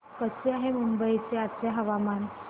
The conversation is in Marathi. कसे आहे मुंबई चे आजचे हवामान